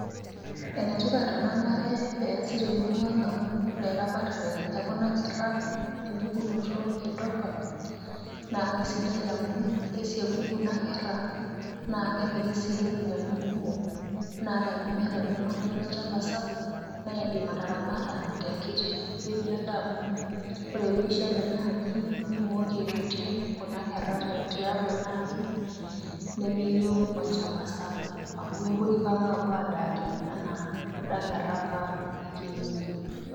Ene tipat ena bae peasi temurua ang amu ore kuna kerra empukunoto e dopper naa kaisidai amu kesieku kuna kerra naa kemiri si iropiyiani kumok naa tenimiata ninye oltungani ewueji sapuk naa indim ataramata tenkiti wueji ake amu ore pishet enaaji nimooki aitoti kuna kerra tiatua enaaji nemeyieu olchamba sapuk amu mookire ipang apuo adaari anaa kuna kerra apa e kienyeji.